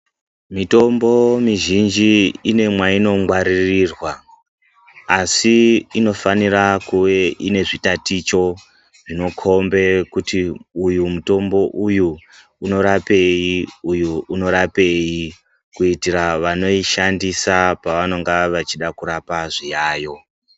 Mitombo mizhinji ine mwainongwaririrwa asi inofanire kuve inezvitaticho zvinokombe kuti uyu mutombo uyu unorapei, uyu unorapeyi. Kuitira vanoishandisa pavanonga vachida kurapa zviyayo.